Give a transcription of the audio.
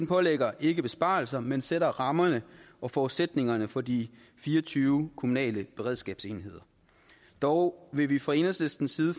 pålægger ikke besparelser men sætter rammerne og forudsætningerne for de fire og tyve kommunale beredskabsenheder dog vil vi fra enhedslistens side